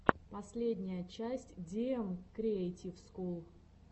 последняя часть диэм криэйтив скул